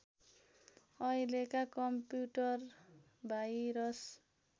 अहिलेका computer virus